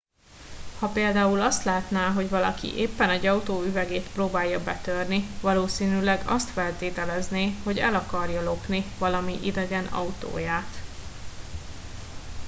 ha például azt látná hogy valaki éppen egy autó üvegét próbálja betörni valószínűleg azt feltételezné hogy el akarja lopni valami idegen autóját